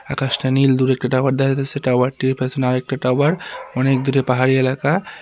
আকাশটা নীল দূরে একটা টাওয়ার দেখা যাচ্ছে টাওয়ারটির পেছনে আরেকটি টাওয়ার অনেক দূরে পাহাড়ি এলাকা।